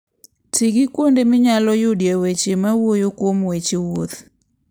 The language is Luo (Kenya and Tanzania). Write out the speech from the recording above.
Ti gi kuonde minyalo yudoe weche mawuoyo kuom weche wuoth.